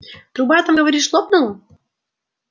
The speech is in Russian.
труба там говоришь лопнула